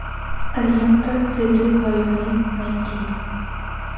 лента цветы войны найди